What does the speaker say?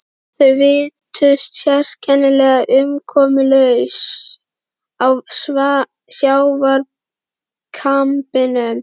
Þau virtust sérkennilega umkomulaus á sjávarkambinum.